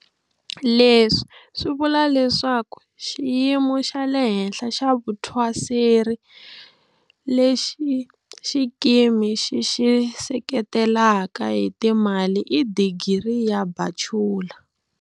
Leswi swi vula leswaku xiyimo xa le henhla xa vuthwaseri lexi xikimi xi xi seketelaka hi timali i Digiri ya Bachula.